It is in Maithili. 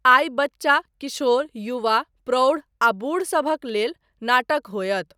आइ बच्चा, किशोर, युवा, प्रौढ़ आ बूढ़ सभक लेल नाटक होयत।